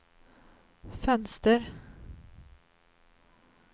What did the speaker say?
fönster